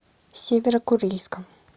северо курильском